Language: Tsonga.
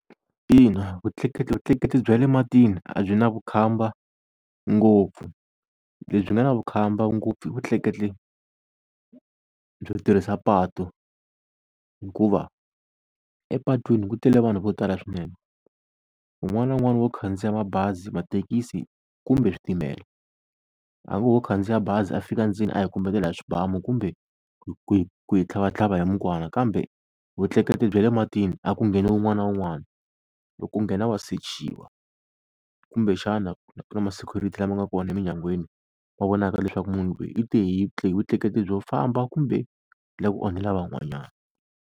Ina vutleketli vutleketli bya le matini a byi na vukhamba ngopfu, lebyi nga na vukhamba ngopfu i vutleketli byo tirhisa patu hikuva epatwini ku tele vanhu vo tala swinene wun'wani na wun'wani wo khandziya mabazi, mathekisi kumbe switimela, hambi wo khandziya bazi a fika ndzeni a hi kombetela hi swibamu kumbe ku hi, ku hi tlhavatlhava hi mukwana. Kambe vutleketli bya le matini a ku ngheni wun'wana na wun'wana, loko u nghena wa sechiwa. Kumbexana ku na ma-security lama nga kona eminyangweni wa vonaka leswaku munhu loyi i te hi vutleketli byo famba kumbe u la ku onhela van'wanyana.